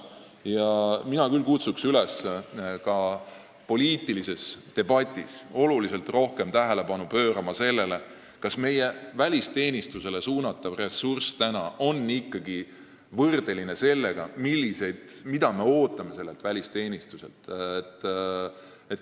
Mina kutsun üles ka poliitilises debatis oluliselt rohkem tähelepanu pöörama sellele, kas praegu meie välisteenistusele suunatav ressurss on ikkagi võrdeline sellega, mida me sellelt välisteenistuselt ootame.